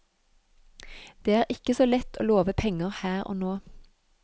Det er ikke så lett å love penger her og nå.